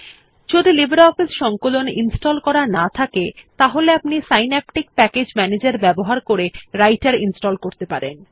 যদি আপনি লিব্রিঅফিস সংকলন ইনস্টল করা না থাকে তাহলে আপনি সিন্যাপটিক প্যাকেজ ম্যানেজের ব্যবহার করে রাইটের ইনস্টল করতে পারেন